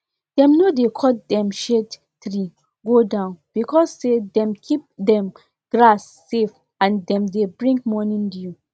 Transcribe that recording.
if you milk cow too late e go reduce milk wey cow dey produce and e fit give cow infection for breast.